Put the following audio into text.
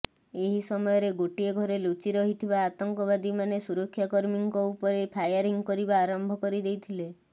ଏହି ସମୟରେ ଗୋଟିଏ ଘରେ ଲୁଚି ରହିଥିବା ଆତଙ୍କବାଦୀମାନେ ସୁରକ୍ଷାକର୍ମୀଙ୍କ ଉପରେ ଫାୟାରିଂ କରିବା ଆରମ୍ଭ କରିଦେଇଥିଲେ